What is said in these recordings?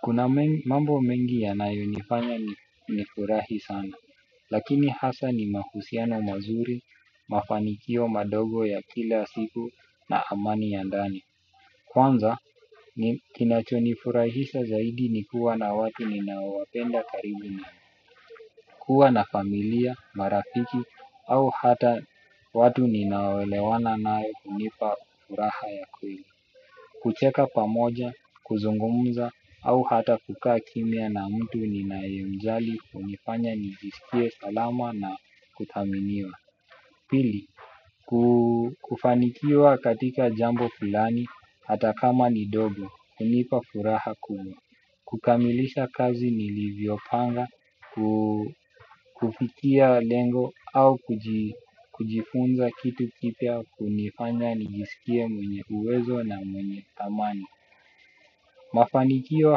Kuna mambo mengi yanayo nifanya nifurahi sana, lakini hasa ni mahusiano mazuri, mafanikio madogo ya kila siku na amani ya ndani. Kwanza, kinachoni furahisha zaidi ni kuwa na watu ninaowapenda karibu nami kuwa na familia, marafiki, au hata watu ninao elewana nae hunipa furaha ya kweli kucheka pamoja, kuzungumza, au hata kukaa kimya na mtu ninae mjali hunifanya nijiskie salama na kuthaminiwa. Pili, kufanikiwa katika jambo fulani, hata kama ni dogo, hunipa furaha kubwa, kukamilisha kazi nilivyo panga, kufikia lengo au kujifunza kitu kipya, hunifanya nijisikie mwenye uwezo na mwenye thamani. Mafanikio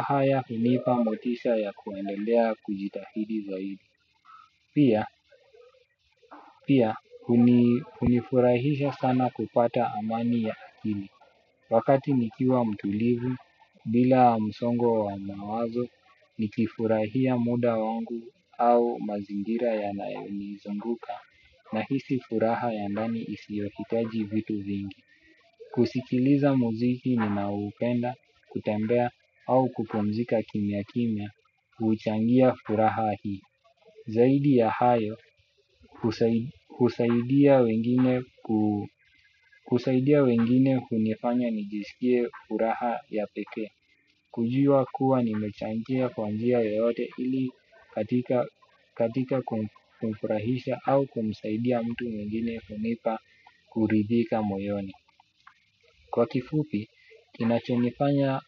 haya hunipa motisha ya kuendelea kujitahidi zaidi. Pia, pia, hunifurahisha sana kupata amani ya akili. Wakati nikiwa mtulivu, bila msongo wa mawazo, nikifurahia muda wangu au mazingira ya yanayoni zunguka nahisi furaha ya ndani isiyohitaji vitu vingi. Kusikiliza mzuiki ninaoupenda, kutembea au kupumzika kimya kimya, huchangia furaha hii. Zaidi ya hayo husaidia wengine kunifanya nijisikie furaha ya peke. Kujua kuwa nimechangia kwa njia yoyote ili katika kumfurahisha au kumsaidia mtu mwingine hunipa kuridhika moyoni. Kwa kifupi, kinachonifanya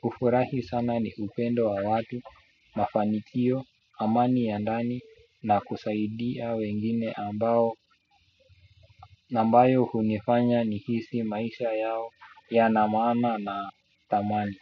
kufurahi sana ni upendo wa watu, mafanikio, amani ya ndani na kusaidia wengine ambao nambayo hunifanya nihisi maisha yao yanamana na thamani.